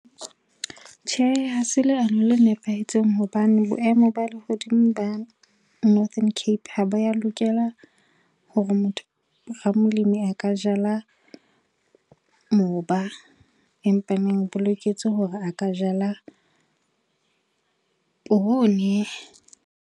Tjhe, hase leano le nepahetseng hobane boemo ba lehodimo ba Northern Cape ha ba ya lokela hore motho a ka jala moba. Empaneng bo boloketse hore a ka jala poone.